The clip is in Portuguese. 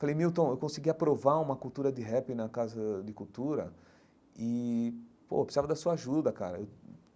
Falei, Milton, eu consegui aprovar uma cultura de rap na Casa de Cultura e, pô, eu precisava da sua ajuda, cara.